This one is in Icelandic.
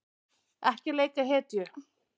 Ekki leika hetju